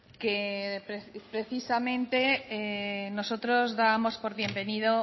que precisamente nosotros dábamos por bienvenido